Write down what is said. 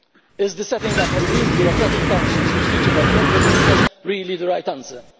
Is the setting up of new bureaucratic councils to preach about competitiveness really the right answer?